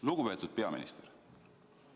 " Lugupeetud peaminister!